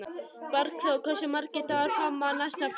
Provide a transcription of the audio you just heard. Bergþór, hversu margir dagar fram að næsta fríi?